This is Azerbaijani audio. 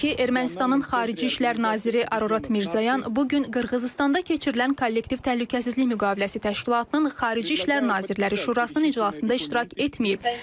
Belə ki, Ermənistanın xarici işlər naziri Ararat Mirzoyan bu gün Qırğızıstanda keçirilən kollektiv təhlükəsizlik müqaviləsi təşkilatının xarici işlər nazirləri şurasının iclasında iştirak etməyib.